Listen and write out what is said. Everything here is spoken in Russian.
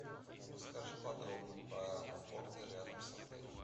расскажи подробно про аэропорты рядом с отелем